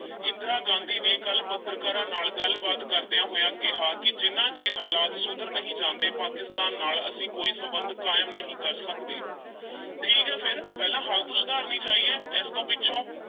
ਇੰਦਰਾ ਗਾਂਧੀ ਨੇ ਕੱਲ੍ਹ ਪੱਤਰਕਾਰਾਂ ਨਾਲ ਗੱਲ-ਬਾਤ ਕਰਦਿਆਂ ਹੋਇਆਂ ਕਿਹਾ ਕਿ ਜਿੰਨਾ ਚਿਰ ਹਾਲਾਤ ਸੁਧਰ ਨਹੀਂ ਜਾਂਦੇ ਪਾਕਿਸਤਾਨ ਨਾਲ ਅਸੀਂ ਕੋਈ ਸੰਬੰਧ ਕਾਇਮ ਨਹੀਂ ਕਰ ਸਕਦੇ ਠੀਕ ਏ ਫਿਰ ਪਹਿਲਾਂ ਹਾਲਤ ਸੁਧਰਨੀ ਚਾਹੀਏ ਇਸ ਤੋਂ ਪਿੱਛੋਂ